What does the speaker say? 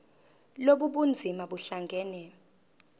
lobu bunzima buhlangane